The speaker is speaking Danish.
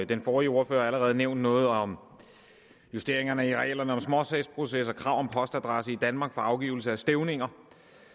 den forrige ordfører har allerede nævnt noget om justeringerne i reglerne om småsagsprocesser krav om postadresse i danmark for afgivelse af stævninger